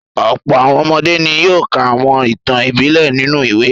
Ọ̀pọ̀ àwọn ọmọdé ni yóò ka àwọn ìtàn ìbílẹ̀ nínú ìwé.